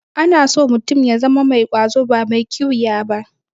Ana so mutum ya zama mai ƙwazo ba mai ƙiwiya ba.